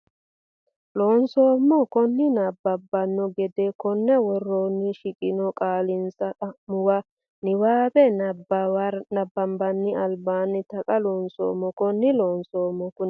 Loonseemmo konni nabbabbanno gede konni woroonni shiqqino kaa linsa xa muwa niwaawe nabbawa nera albaanni Taqa Loonseemmo konni Loonseemmo konni.